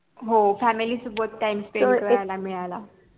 हो family सोबत time spend करायला मिळाला.